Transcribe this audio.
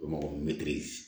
O ma ko mɛtiri